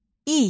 İy.